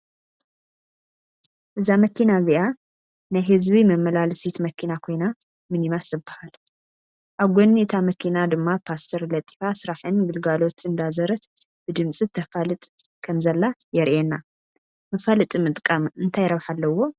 እዚ መኪና እዚኣ ናይ ህዝቢ መመላለሲት መከና ኮይና ሚኒማስ ትበሃል። ኣብ ጎኒ እታ መኪና ድማ ፖስተር ለጢፋ ስራሕን ግልጋሎት እንዳዘረት ብድምፂ ተፋልጥ ከም ዘላ የሪኣና። መፋለጢ ምጥቃም እንታይ ረብሓ ኣለዎ ?